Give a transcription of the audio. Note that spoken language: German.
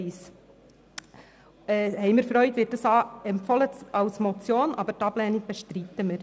Bei Ziffer 1 freuen wir uns über die Empfehlung, die Motion anzunehmen, die Ablehnung aber bestreiten wird.